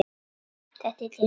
Þetta er til mín!